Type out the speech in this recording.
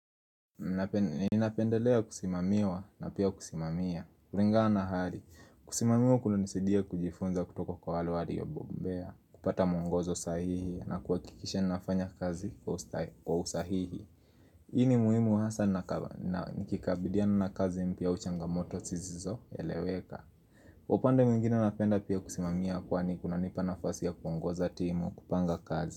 Ninapendelea kusimamiwa na pia kusimamia kulingana na hali. Kusimamiwa kunanisaidia kujifunza kutoka kwa wale waliobobea, kupata mwongozo sahihi na kuhakikisha nafanya kazi kwa usahihi Hii ni muhimu hasa nikikabiliana na kazi mpya au changamoto sisizoeleweka upande mwingine napenda pia kusimamia kwani kunanipa nafasi ya kuongoza timu kupanga kazi.